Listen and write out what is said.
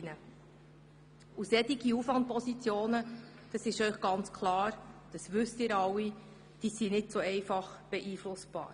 Solche Aufwand-Positionen sind, wie Sie wissen, nicht leicht zu beeinflussen.